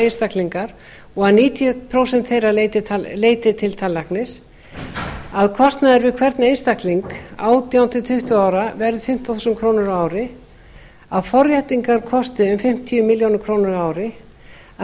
einstaklingar og að níutíu prósent þeirra leiti til tannlæknis þriðja kostnaður við hvern einstakling átján til tuttugu ára verði fimmtán þúsund krónur ári fjórða forréttingar kosti fimmtíu ár ári fimmta